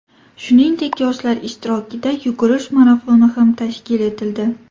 Shuningdek, yoshlar ishtirokida yugurish marafoni ham tashkil etildi.